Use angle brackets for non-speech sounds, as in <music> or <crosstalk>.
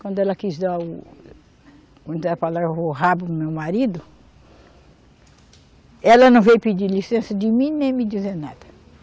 Quando ela quis dar o <unintelligible> o rabo para o meu marido, ela não veio pedir licença de mim nem me dizer nada.